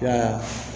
Ya